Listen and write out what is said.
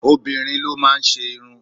Obìnrin ló máa ń ṣe irun.